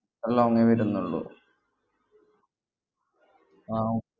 long A വരുന്നുള്ളൂ ആഹ് ഉം